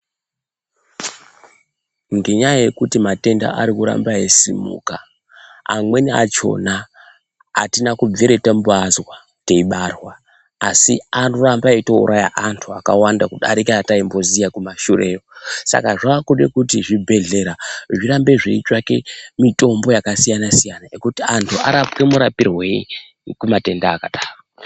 Ngenyaya yekuti matenda arikuramba eisimuka, amweni achona atina kubvira tamboazwa teibarwa asi arikuramba eitouraya vantu vakawanda kudarika ataimboziya kumashureyo Saka zvakude kuti zvibhehlera zvirambe zveitsvake mitombo yakasiyana -siyana yekuti anhu arapwe murapirwei kumatenda akadaro.